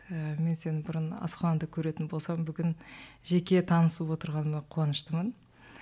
ііі мен сені бұрын асханада көретін болсам бүгін жеке танысып отырғаныма қуаныштымын